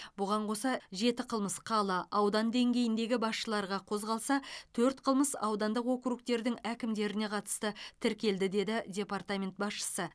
бұған қоса жеті қылмыс қала аудан деңгейіндегі басшыларға қозғалса төрт қылмыс аудандық округтердің әкімдеріне қатысты тіркелді деді департамент басшысы